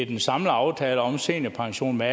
den samlede aftale om seniorpension med